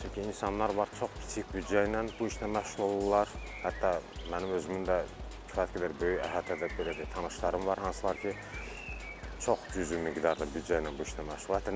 Çünki insanlar var, çox kiçik büdcə ilə bu işlə məşğul olurlar, hətta mənim özümün də kifayət qədər böyük əhatədə belə deyək tanışlarım var, hansılar ki, çox cüzi miqdarda büdcə ilə bu işlə məşğul olurlar.